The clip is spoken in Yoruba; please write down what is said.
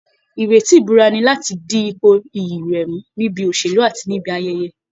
Ìrètí ìbúra ni láti di ipò iyì rẹ̀ mú níbi òṣèlú, àti níbi ayẹyẹ